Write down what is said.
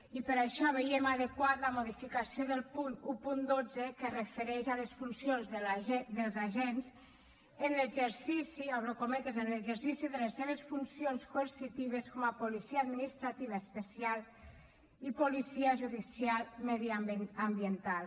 i per això veiem adequada la modificació del punt cent i dotze que es refereix a les funcions dels agents en exercici obro cometes de les seves funcions coercitives com a policia administrativa especial i policia judicial mediambiental